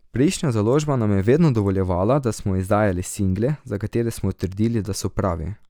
Prejšnja založba nam je vedno dovoljevala, da smo izdajali single, za katere smo trdili, da so pravi.